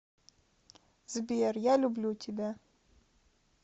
сбер я люблю тебя